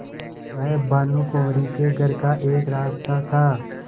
वह भानुकुँवरि के घर का एक रास्ता था